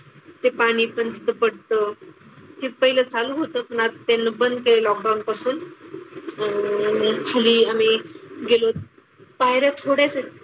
ते पाणी पण तिथं पडतं. ते पहिलं चालू होतं पण आता त्याला बंद केलं लॉकडाउन पासून. अह मग खाली आम्ही गेलो होतो पायऱ्या थोड्याच आहेत,